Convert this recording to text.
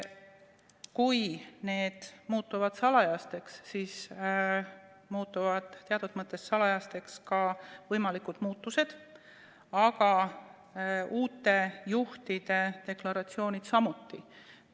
Kui need muutuvad salajaseks, siis muutuvad teatud mõttes salajaseks ka võimalikud muutused, aga uute juhtide deklaratsioonid samuti.